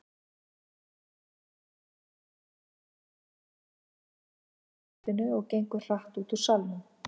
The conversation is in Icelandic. Skipstjórinn skorðar Mensalder af í sætinu og gengur hratt út úr salnum.